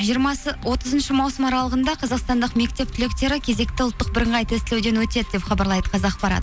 жиырмасы отызыншы маусым аралығында қазақстандық мектеп түлектері кезекті ұлттық бірыңғай тестілеуден өтеді деп хабарлайды қазақпарат